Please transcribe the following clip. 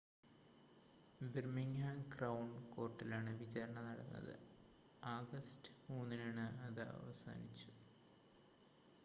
Birmingham crown കോർട്ടിലാണ് വിചാരണ നടന്നത് ആഗസ്റ്റ് 3 ന് അത് അവസാനിച്ചു